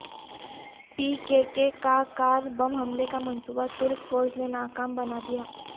پی KK کا car بم حملے کا منصوبہ ترک فوج نے ناکام بنا دیا